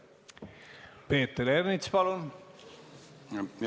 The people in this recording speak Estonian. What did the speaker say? Peeter Ernits, palun!